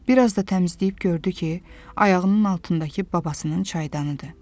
Bir az da təmizləyib gördü ki, ayağının altındakı babasının çaydanıdır.